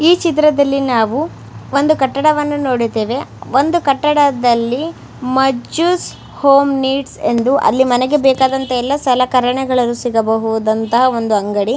ಈ ಚಿತ್ರದಲ್ಲಿ ನಾವು ಒಂದು ಕಟ್ಟಡವನ್ನು ನೋಡಿದ್ದೇವೆ ಒಂದು ಕಟ್ಟಡದಲ್ಲಿ ಮಜ್ಜುಸ್ ಹೋಂ ನೀಡ್ಸ್ ಎಂದು ಅಲ್ಲಿ ಮನೆಗೆ ಬೇಕಾದಂತಹ ಎಲ್ಲ ಸಲಕರಣೆಗಳು ಸಿಗಬಹುದುದಂತಹ ಒಂದು ಅಂಗಡಿ.